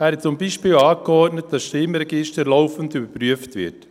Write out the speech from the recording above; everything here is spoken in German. Er hat zum Beispiel angeordnet, dass das Stimmregister laufend überprüft wird.